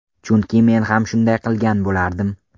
Chunki men ham shunday qilgan bo‘lardim.